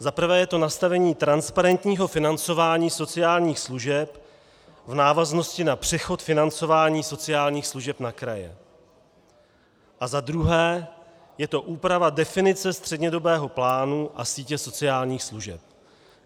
Za prvé je to nastavení transparentního financování sociálních služeb v návaznosti na přechod financování sociálních služeb na kraje a za druhé je to úprava definice střednědobého plánu a sítě sociálních služeb.